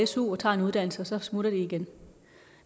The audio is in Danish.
su tager en uddannelse og så smutter de igen